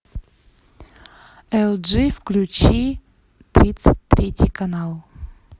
элджи включи тридцать третий канал